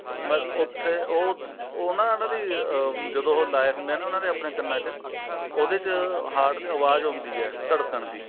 ਉੱਥੇ ਉਹ ਫ਼ੇਰ ਉਹ ਉਹ ਨਾ ਉਹਨਾ ਦੀ ਅਮ ਜਦੋ ਉਹ ਲਾਏ ਹੁੰਦੇ ਆ ਨਾ ਆਪਣੇ ਕੰਨਾ ਚ heart ਚੋਂ ਆਵਾਜ ਆਉਂਦੀ ਹੈ ਧੜਕਣ ਦੀ